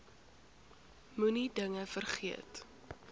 moenie dinge vergeet